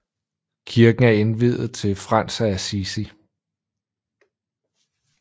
Kirken er indviet til Frans af Assisi